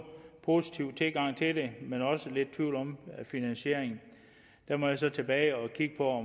positiv tilgang til det men er også lidt i tvivl om finansieringen der må jeg så tilbage og kigge på